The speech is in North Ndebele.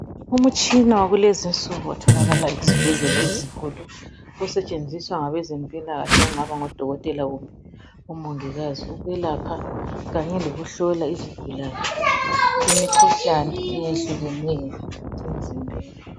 Umtshina wakulezinsuku otholakala ezibhedlela ezinkulu osetshenziswa ngabezempilakahle okungaba ngodokotela kumbe omongikazi ukuyelapha kanye lokuhlola izigulane imikhuhlane eyehlukeneyo emzimbeni.